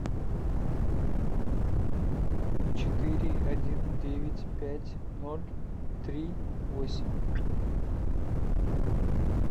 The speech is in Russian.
четыре один девять пять ноль три восемь